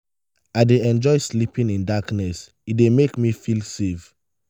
i dey enjoy sleeping in darkness; e dey make me feel safe.